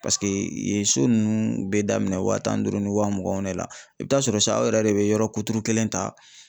yen so ninnu bɛ daminɛ wa tan ni duuru ni wa muganw de la. I bi taa sɔrɔ san aw yɛrɛ de be yɔrɔ kuturu kelen ta